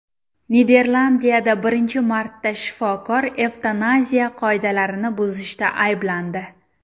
Niderlandiyada birinchi marta shifokor evtanaziya qoidalarini buzishda ayblandi.